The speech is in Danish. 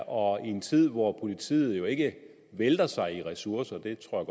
og i en tid hvor politiet jo ikke vælter sig i ressourcer det tror